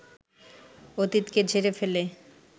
অতীতকে ঝেড়ে ফেলে